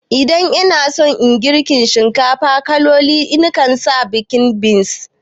Idan ina son girka shinkafa mai kaloli ina sa baked beans